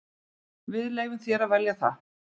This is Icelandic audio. Við leyfum þér að velja það.